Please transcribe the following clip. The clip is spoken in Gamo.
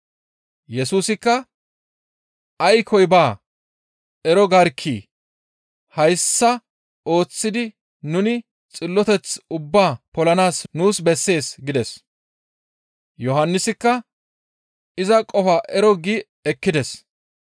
Yesusikka, «Aykkoy baa, ero garkkii? Hayssa ooththidi nuni xilloteth ubbaa polanaas nuus bessees» gides. Yohannisikka iza qofaa ero gi ekkides.